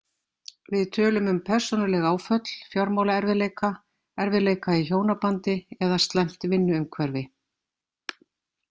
Við tölum um persónuleg áföll, fjármálaerfiðleika, erfiðleika í hjónabandi eða slæmt vinnuumhverfi.